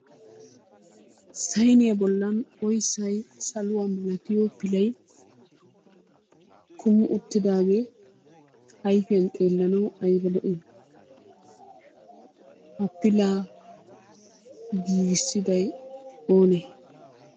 Sayiniya bollan oyissay saluwa milatiyo pilay kumi uttidaagee ayifiyan xeellanawu ayiba lo'i! Ha pilaa giigissiday onee?